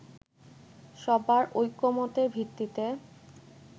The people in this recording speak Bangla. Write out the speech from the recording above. সবার ঐকমত্যের ভিত্তিতে